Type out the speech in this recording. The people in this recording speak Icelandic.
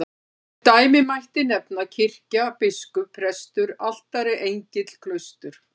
Sem dæmi mætti nefna kirkja, biskup, prestur, altari, engill, klaustur.